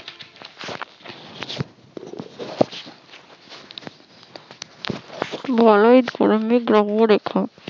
বলওত গরমের ধর্মরেখা